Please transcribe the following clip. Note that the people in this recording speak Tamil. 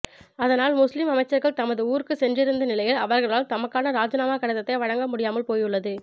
அதனால் முஸ்லிம் அமைச்சர்கள் தமது ஊர்களுக்கு சென்றிருந்த நிலையில் அவர்களால் தமக்கான இராஜினாமா கடிதத்தை வழங்க முடியாமல் போயுள்ளது